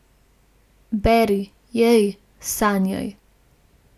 Beri, jej, sanjaj.